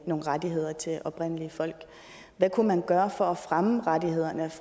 nogle rettigheder til oprindelige folk hvad kunne man gøre for at fremme rettighederne